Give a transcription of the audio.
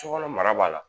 Sokɔnɔ mara b'a la